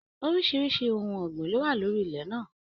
Oríṣiríṣi ohùn ọgbin ló wà lórí ilẹ̀ náà.